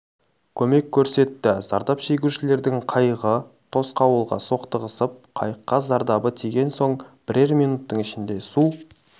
көмек көрсетті зардап шегушілердің қайығы тосқауылға соқтығысып қайыққа зардабы тиген соң бірер минуттың ішінде су